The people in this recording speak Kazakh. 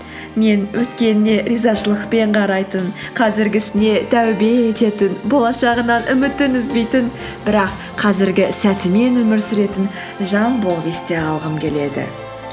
мен өткеніне ризашылықпен қарайтын қазіргі ісіне тәубе ететін болашағынан үмітін үзбейтін бірақ қазіргі сәтімен өмір сүретін жан болып есте қалғым келеді